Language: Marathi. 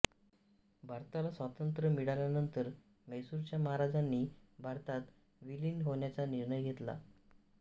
भारताला स्वातंत्र्य मिळाल्यानंतर म्हैसूरच्या महाराजांनी भारतात विलीन होण्याचा निर्णय घेतला